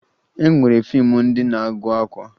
E nwere fiimu ndị na-agụ akwa